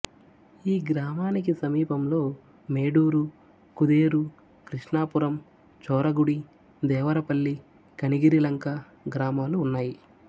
ఈ గ్రామానికి సమీపంలో మేడూరు కుదేరు క్రిష్ణాపురం చోరగుడి దేవరపల్లి కనిగిరిలంక గ్రామాలు ఉన్నాయి